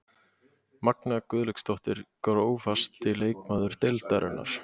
Magnea Guðlaugsdóttir Grófasti leikmaður deildarinnar?